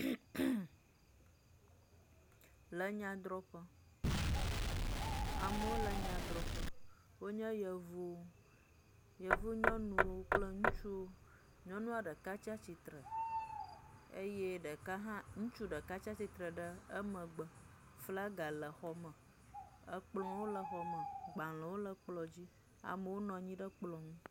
Le nyadrɔƒe. Amewo le nyadrɔƒe, wonye yevuwo, nyɔnuwo kple ŋutsuwo. Nyɔnua ɖeka tsatsitre eye ɖeka hã ŋutsu ɖeka tastsitre le emegbe, flaga le xɔ me, ekplɔwo le xɔ me, gbalẽwo le kplɔ dzi, amewo nɔ nyi ɖe kplɔ ŋu.